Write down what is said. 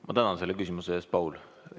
Ma tänan selle küsimuse eest, Paul!